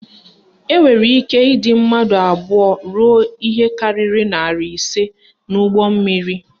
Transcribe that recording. Enwere ike ịdị mmadụ abụọ ruo ihe karịrị narị ise n'ụgbọmmiri